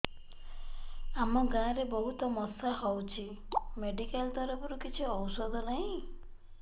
ଆମ ଗାଁ ରେ ବହୁତ ମଶା ହଉଚି ମେଡିକାଲ ତରଫରୁ କିଛି ଔଷଧ ନାହିଁ